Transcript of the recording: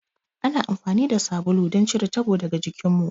Ana amfani da sabulu don cire tabo daga jikinmu.